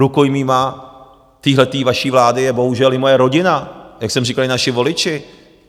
Rukojmími téhle vaší vlády je bohužel i moje rodina, jak jsem říkal, i naši voliči.